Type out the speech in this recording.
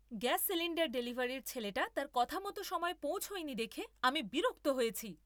Gas cylinder ডেলিভারির ছেলেটা তার কথামতো সময়ে পৌঁছয়নি দেখে আমি বিরক্ত হয়েছি।